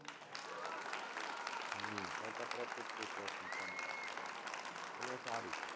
હમ સરકાર તરફથી જ free course મુકવામાં આવેલો અને એ સારું છે.